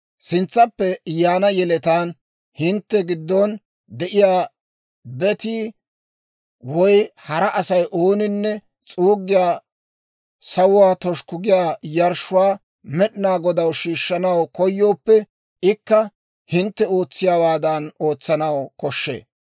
Sintsappe yaana yeletaan hintte giddon de'iyaa betii woy hara Asay ooninne s'uuggiyaa, sawuwaa toshukku giyaa yarshshuwaa Med'inaa Godaw shiishshanaw koyooppe, ikka hintte ootsiyaawaadan ootsanaw koshshee.